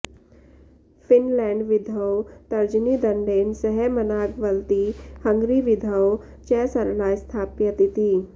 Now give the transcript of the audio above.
फिनलैण्डविधौ तर्जनी दण्डेन सह मनाग वलति हंगरीविधौ च सरला स्थाप्यत इति